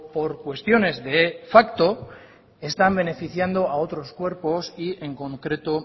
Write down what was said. por cuestiones de facto están beneficiando a otros cuerpos y en concreto